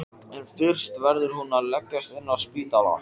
En fyrst verður hún að leggjast inn á spítala.